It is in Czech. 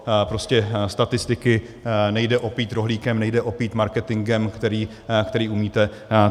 Prostě statistiky nejde opít rohlíkem, nejde opít marketingem, který umíte.